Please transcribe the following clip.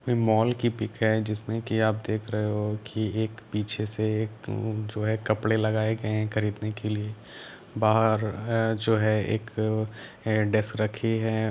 Mall की pic है जिसमे के आप देख रहे हो की एक पीछे से एक जो है कपड़े लगाए गए है खरीदने के लिए बहार जो है एक हेड डेस्क रखी है।